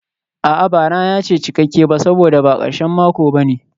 A'a, ba rana ce cikakke ba saboda ba karshen mako ba ne.